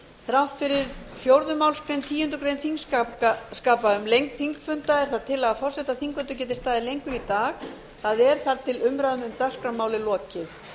þrátt fyrir fjórðu málsgreinar tíundu greinar þingskapa um lengd þingfunda er það tillaga forseta að þingfundur geti staðið lengur í dag það er þar til umræðum um dagskrármál er lokið